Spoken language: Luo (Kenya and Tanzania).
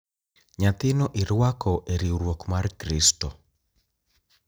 Nyathino irwako e riwruok mar Kristo.